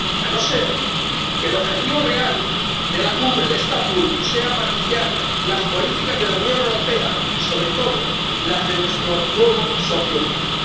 A no ser que el objetivo real de la Cumbre de Estambul sea maquillar las políticas de la Unión Europea y, sobre todo, las de nuestro nuevo socio turco.